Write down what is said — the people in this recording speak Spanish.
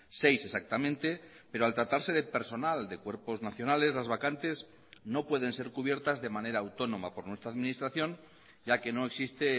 seis exactamente pero al tratarse de personal de cuerpos nacionales las vacantes no pueden ser cubiertas de manera autónoma por nuestra administración ya que no existe